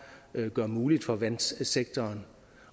gør muligt for vandsektoren